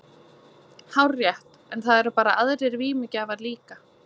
Hárrétt, en það eru bara aðrir vímugjafar líka.